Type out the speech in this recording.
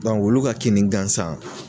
Dɔnku wulu ka kini gansan